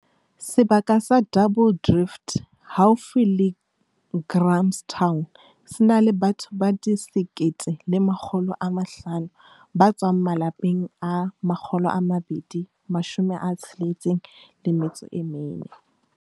Sebaka sa Double Drift haufi le Grahamstown se na le batho ba 1 500 ba tswang malapeng a 264.